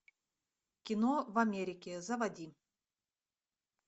кино в америке заводи